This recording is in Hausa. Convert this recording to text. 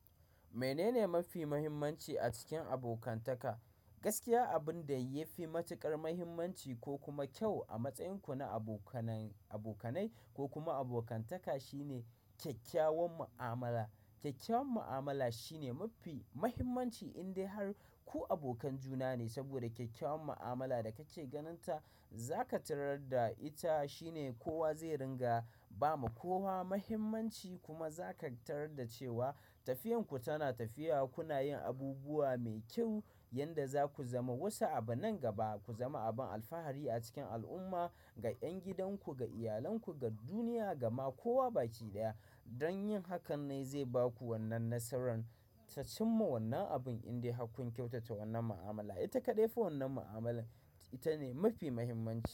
Menene mafi muhimmanci a cikin abokantaka? Gaskiya abin da ya fi matuƙar muhimmanci ko kuma kyau a matsayinku na abo abokanai ko kuma abokantaka shine kyakkyawan mu'amala. Kyakkyawan mu'amala shine mafi muhimmanci indai har ku abokan juna ne, saboda kyakkyawan mu'amala da kake ganin ta za ka tarar da ita shine kowa zai ringa ba ma kowa muhimmanci kuma za ka tarar da cewa tafiyarku tana tafiya kuna yin abubuwa mai kyau yanda za ku zama wasu abu nan gaba, ku zama abin alfahari a cikin al'umma ga 'yan gidanku, ga iyalanku, ga duniya, gama kowa baki ɗaya. Don yin hakan nai zai ba ku wannan nasaran. Tacin ma wannan abin indai hakkun kyautata wannan mu'amala, ita kaɗai fi wannan mu'amala ita ne mafi muhimmanci.